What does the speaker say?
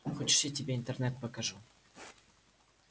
хочешь я тебе интернет покажу